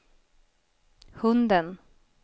hunden